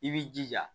I b'i jija